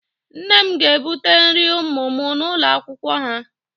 Nne m ga-ebute nri ụmụ m n'ụlọ akwụkwọ ha